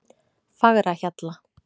Fagrahjalla